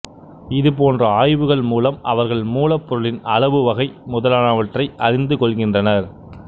இதுபோன்ற ஆய்வுகள் மூலம் அவர்கள் மூலப்பொருளின் அளவு வகை முதலானவற்றை அறிந்து கொள்கின்றனர்